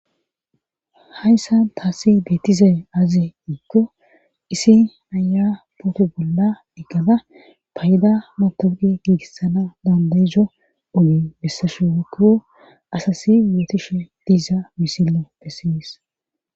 hayssa taasi beetizay azi iikko isi naya pooto bolla diggada payda matogi giigissana dandayizo oyi bessashu wokkiwo asasi yootishe diiza misillo bessiyis